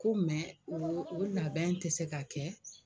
Ko o o labɛn tɛ se ka kɛ.